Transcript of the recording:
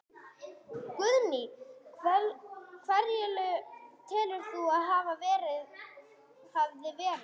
Guðný: Hverjir telur þú að það hafi verið?